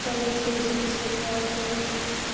да лень перезаписывать голосовые